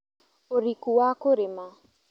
ũriku wa kũrĩma